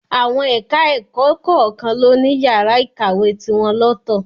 Àwọn ẹ̀ka-ẹ̀kọ kọ̀ọ̀kan ló ní yàrá ìkàwé tiwọn lọ́tọ̀